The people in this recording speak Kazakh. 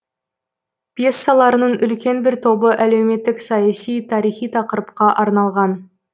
пьесаларының үлкен бір тобы әлеуметтік саяси тарихи тақырыпқа арналған